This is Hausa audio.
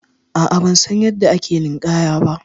A'a bansan yanda ake ninƙaya ba.